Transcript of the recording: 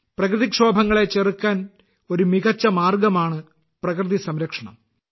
പ്രകൃതിക്ഷോഭങ്ങളെ ചെറുക്കാൻ ഒരു മികച്ച മാർഗമാണ് പ്രകൃതി സംരക്ഷണം